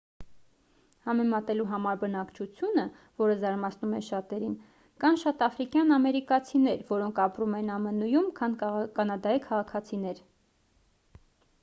համեմատելու համար բնակչությունը որը զարմացնում է շատերին կան շատ աֆրիկյան ամերիկացիներ որոնք ապրում են ամն-ում քան կանադայի քաղաքացիներ